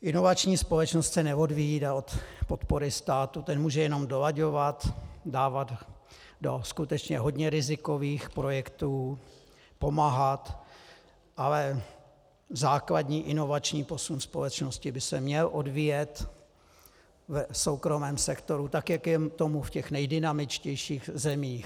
Inovační společnost se neodvíjí od podpory státu, ten může jenom dolaďovat, dávat do skutečně hodně rizikových projektů, pomáhat, ale základní inovační posun společnosti by se měl odvíjet v soukromém sektoru, tak jak je tomu v těch nejdynamičtějších zemích.